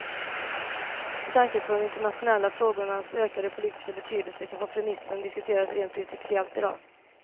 Med tanke på de internationella frågornas ökade politiska betydelse kan kompromissen diskuteras rent principiellt i dag.